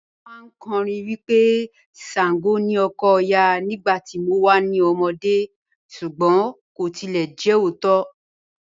Wọn màáń kọ́rìn wí pé Ṣàngó ni ọkọ̀ Ọya nígbà tí mò wà ní ọmọdé̀ súgbọn kò tilẹ̀ jẹ ọ̀ótó.